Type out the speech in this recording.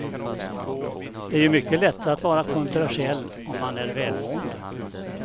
Det är ju mycket lättare att vara kontroversiell om man är välmående.